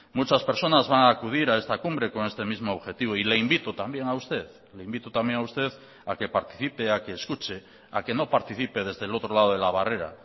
muchas personas van a acudir a esta cumbre con este mismo objetivo y le invito también a usted le invito también a usted a que participe a que escuche a que no participe desde el otro lado de la barrera